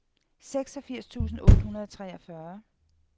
seksogfirs tusind otte hundrede og treogfyrre